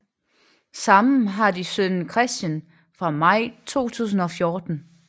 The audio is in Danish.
Sammen har de sønnen Christian fra maj 2014